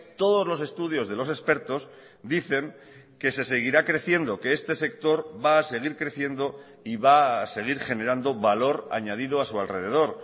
todos los estudios de los expertos dicen que se seguirá creciendo que este sector va a seguir creciendo y va a seguir generando valor añadido a su alrededor